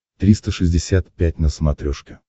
триста шестьдесят пять на смотрешке